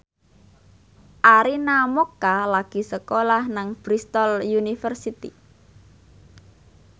Arina Mocca lagi sekolah nang Bristol university